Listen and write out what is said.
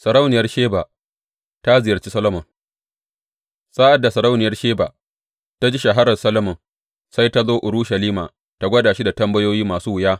Sarauniyar Sheba ta ziyarci Solomon Sa’ad da sarauniyar Sheba ta ji shahararr Solomon, sai ta zo Urushalima tă gwada shi da tambayoyi masu wuya.